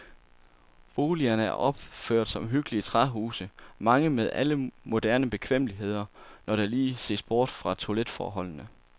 Boligerne er opført som hyggelige træhuse, mange med alle moderne bekvemmeligheder, når der lige ses bort fra toiletforholdene.